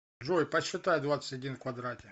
джой посчитай двадцать один в квадрате